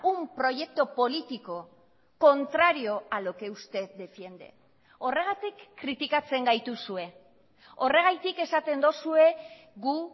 un proyecto político contrario a lo que usted defiende horregatik kritikatzen gaituzue horregatik esaten duzue gu